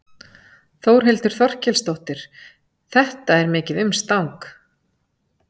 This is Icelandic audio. Þórhildur Þorkelsdóttir: Þetta er mikið umstang?